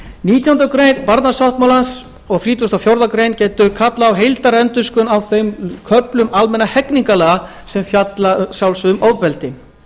nítjánda grein barnasáttmálans og þrítugasta og fjórðu grein getur kallað á heildarendurskoðun á þeim köflum almennra hegningarlaga sem fjalla að sjálfsögðu um ofbeldi